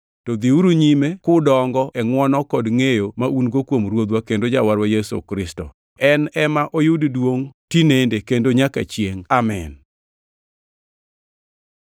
To dhiuru nyime kudongo e ngʼwono kod ngʼeyo ma un-go kuom Ruodhwa kendo Jawarwa Yesu Kristo. En ema oyud duongʼ tinende kendo nyaka chiengʼ! Amin.